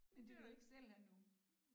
Men de vil ikke selv have nogen